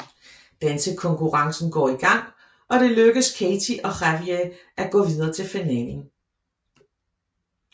Dansekonkurrencen går i gang og det lykkedes Katey og Javier at gå videre til finalen